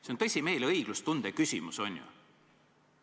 See on tõsimeeli õiglustunde küsimus, on ju.